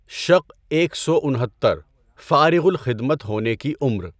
شق ایک سو انہتر - فارغ الخدمت ہونے کی عمر